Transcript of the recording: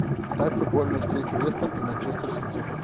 ставь футбольную встречу лестер и манчестер сити